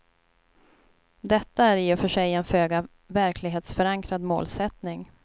Detta är i och för sig en föga verklighetsförankrad målsättning.